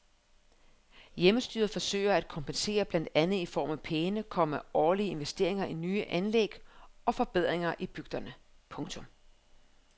Hjemmestyret forsøger at kompensere blandt andet i form af pæne, komma årlige investeringer i nye anlæg og forbedringer i bygderne. punktum